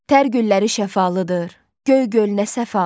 Tər gülləri şəfalıdır, göy gölü nə səfalıdır.